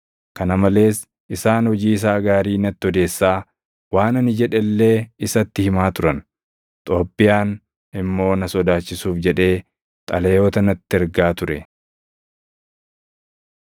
Kana malees isaan hojii isaa gaarii natti odeessaa, waan ani jedhe illee isatti himaa turan. Xoobbiyaan immoo na sodaachisuuf jedhee xalayoota natti ergaa ture.